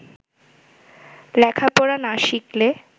লেখাপড়া না শিখলে